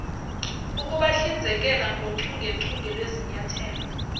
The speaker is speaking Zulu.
ukubahlinzekela ngochungechunge lwezinyathelo